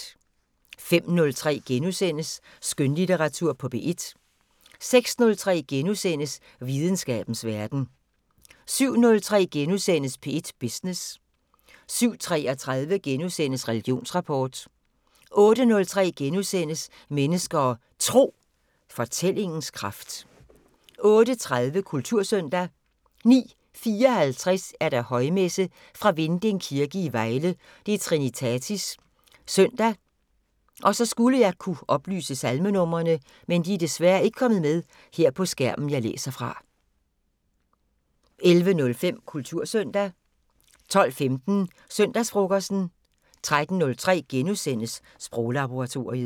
05:03: Skønlitteratur på P1 * 06:03: Videnskabens Verden * 07:03: P1 Business * 07:33: Religionsrapport * 08:03: Mennesker og Tro: Fortællingens kraft * 08:30: Kultursøndag 09:54: Højmesse - Fra Vinding Kirke, Vejle. Trinitatis søndag. Salmenumre: 11:05: Kultursøndag 12:15: Søndagsfrokosten 13:03: Sproglaboratoriet *